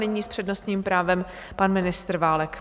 Nyní s přednostním právem pan ministr Válek.